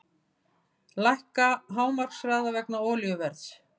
Lækka hámarkshraða vegna olíuverðs